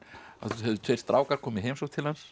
höfðu tveir strákar komið í heimsókn